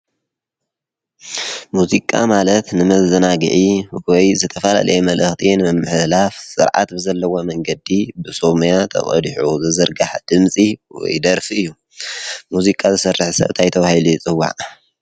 ሙዚቃ ማለት ንመዘናግዒ ወይ ንዝተፈላለየ መልእክቲ ንምምሕልላፍ ስርዓት ብዘለዎ መንገዲ ብሰብ ሞያ ተቀዲሑ ዝዝርጋሕ ድምፂ ወይ ደርፊ እዩ ሙዚቃ ዝሰርሕ ሰብ ታይ ተባሂሉ ይፅዋዕ?